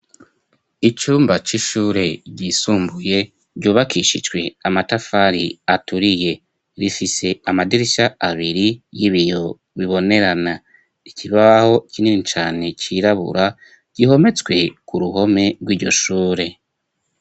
Icumba c'ishure ryisumbuye ryubakishijwe amatafari aturiye rifise amadirishya abiri y'ibiyo bibonerana ikibaho kinini cane cirabura gihometswe ku ruhome rwiryo shure.